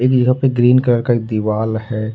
इहा पे green colour का दिवाल है।